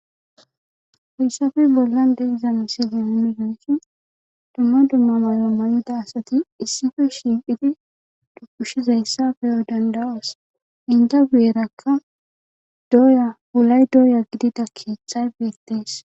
Heysape bolan de'iza misilen de'iyageti duma duma mayuwamayida asati isippe shiiqidi dubushizaysa be'o danda'os enta guyeraka doya wulay doya gidiza keethay beetes.